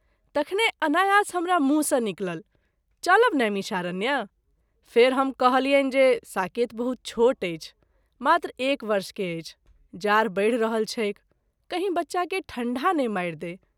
तखने अनायास हमरा मुँह सँ निकलल चलब नैमिषारण्य ? फेरि हम कहलियनि जे साकेत बहुत छोट अछि , मात्र एक वर्ष के अछि, जार बढि रहल छैक , कहीं बच्चा के ठंढा ने मारि दैक।